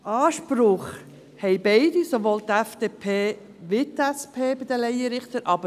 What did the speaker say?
Anspruch haben bei den Laienrichtern beide, sowohl die FDP als auch die SP.